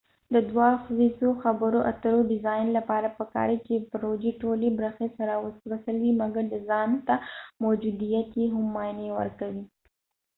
د دوه ادخیزو خبرو اترو ډیزاین لپاره پکار دي چې د پروژی ټولی برخی سره وصل وي مګر د ځانته موجوديت یې هم معنی ورکوي